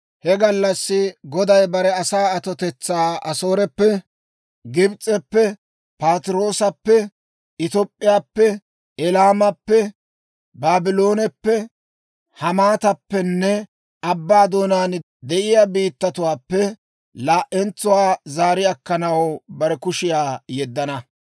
He gallassi Goday bare asaa atotetsaa Asooreppe, Gibs'eppe, Patiroosappe, Top'p'iyaappe, Elaamappe, Baablooneppe, Hamaatappenne abbaa doonaan de'iyaa biittatuwaappe laa"entsuwaa zaari akkanaw bare kushiyaa yeddana.